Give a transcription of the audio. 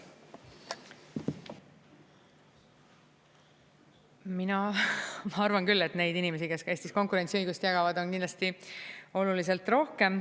Mina arvan küll, et neid inimesi, kes Eestis konkurentsiõigust jagavad, on kindlasti oluliselt rohkem.